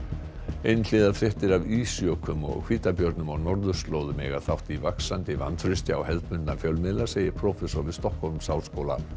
einhliða fréttir af ísjökum og hvítabjörnum á norðurslóðum eiga þátt í vaxandi vantrausti á hefðbundna fjölmiðla segir prófessor við Stokkhólmsháskóla